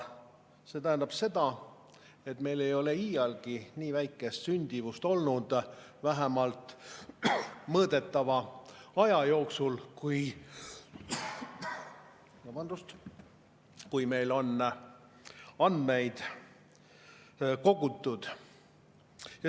See tähendab seda, et meil ei ole iialgi nii väikest sündimust olnud, vähemalt mõõdetava aja jooksul, kui meil on andmeid kogutud.